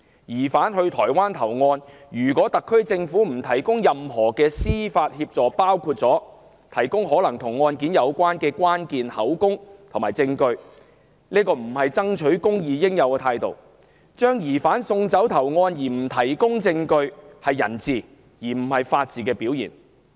疑犯到台灣投案，特區政府不提供任何司法協助，包括提供可能與案件有關的關鍵口供和證據，並非爭取公義的應有態度；把疑犯送走投案卻不提供證據，是人治而非法治的表現。